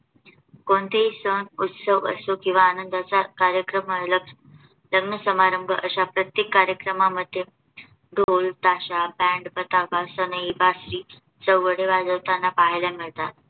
कोणतेही सण उत्सव असो किंवा आनंदाचा कार्यक्रम आलाच, लग्न समारंभ अशा प्रत्येक कार्यक्रमांमध्ये ढोल, ताशा, बँड, पताका, सनई, बासरी, दवंडी वाजवताना पाहायला मिळतात.